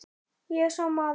Ég er sá maður.